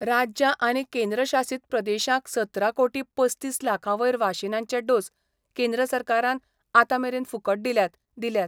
राज्यां आनी केंद्रशासीत प्रदेशांक सतरा कोटी पसतीस लाखावयर वाशीनांचे डोस केंद्र सरकारान आतामेरेन फूकट दिल्यात दिल्यात.